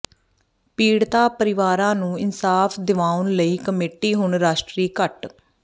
ਪੀੜਤਾ ਪਰਿਵਾਰਾਂ ਨੂੰ ਇਨਸਾਫ਼ ਦਿਵਾਉਣ ਲਈ ਕਮੇਟੀ ਹੁਣ ਰਾਸ਼ਟਰੀ ਘੱਟ